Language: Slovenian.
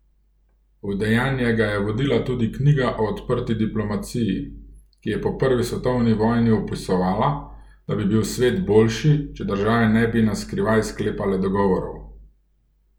V dejanja ga je vodila tudi knjiga o odprti diplomaciji, ki je po prvi svetovni vojni opisovala, da bi bil svet boljši, če države ne bi na skrivaj sklepale dogovorov.